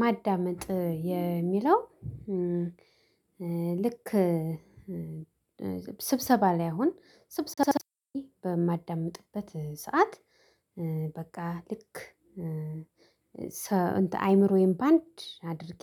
ማዳመጥ የሚለው ልክ ስብሰባ ላይ አሁን ስብሰባ ሰዓት በማዳምጥበት ሰዓት። በቃ ልክ አይምሮዬን በአንድ አድርጌ